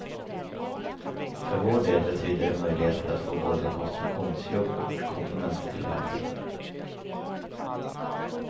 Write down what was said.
För vår del betyder det möjligheter att få både konstruktionsjobb och komponenttillverkning.